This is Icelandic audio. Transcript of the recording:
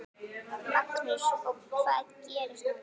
Magnús: Og hvað gerist núna?